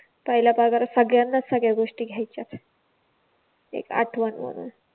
पहिल्या पगारात सगळ्यांनाच सगळ्या गोष्टी घ्यायच्याच एक आठवण म्हणून